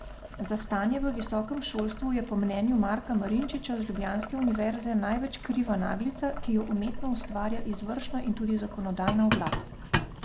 Za stanje v visokem šolstvu je po mnenju Marka Marinčiča z ljubljanske univerze največ kriva naglica, ki jo umetno ustvarja izvršna in tudi zakonodajna oblast.